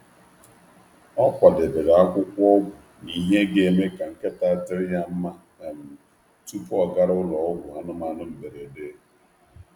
Ọ kwadebere akwụkwọ ọgwụ na ihe ga-eme ka nkịta dịrị ya mma um tupu ọ gara ụlọ ọgwụ anụmanụ mberede.